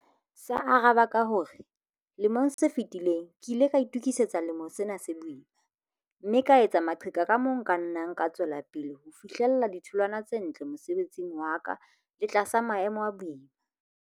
Sa araba ka ho re 'lemong se fetileng ke ile ka itokisetsa selemo sena se boima, mme ka etsa maqheka ka moo nka nnang ka tswela pele ho fihlella ditholwana tse ntle mosebetsing wa ka le tlasa maemo a boima'.